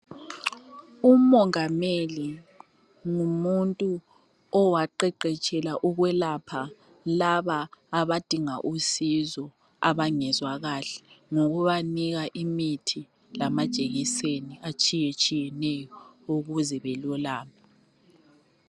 Ummongameli ngumuntu owaqeqetshela ukwelapha laba abadinga usizo abangezwa kahle ngokubanika imithi lamajekiseni atshiyetshiyeneyo ukuze balulame